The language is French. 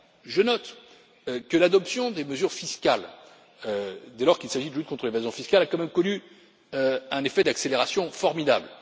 Je note que l'adoption des mesures fiscales, dès lors qu'il s'agit de lutte contre l'évasion fiscale, a quand même connu un effet d'accélération formidable.